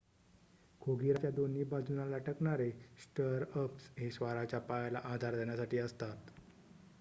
खोगिराच्या दोन्ही बाजूंना लटकणारे स्टरअप्स हे स्वाराच्या पायाला आधार देण्यासाठी असतात